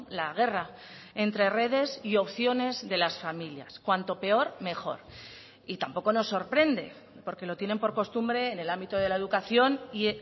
la guerra entre redes y opciones de las familias cuanto peor mejor y tampoco nos sorprende porque lo tienen por costumbre en el ámbito de la educación y